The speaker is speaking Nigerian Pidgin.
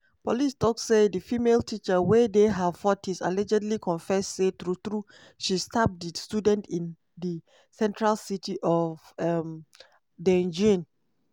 police tok say di female teacher wey dey her 40s allegedly confess say true-true she stab di student in di central city of um daejeon.